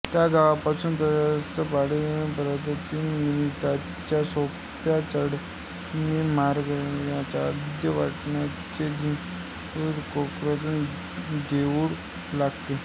त्या गावापासून प्रशस्त पायवाटेने पंधरावीस मिनिटांच्या सोप्या चढणीने मानगडाच्या अर्ध्या वाटेवरचे विंझाईदेवीचे कौलारू देऊळ लागते